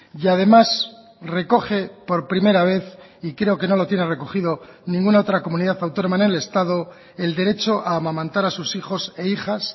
y además recoge por primera vez y creo que no lo tiene recogido ninguna otra comunidad autónoma en el estado el derecho a amamantar a sus hijos e hijas